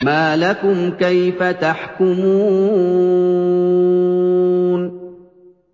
مَا لَكُمْ كَيْفَ تَحْكُمُونَ